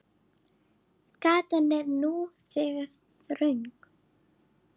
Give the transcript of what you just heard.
Gatan er nú þegar þröng.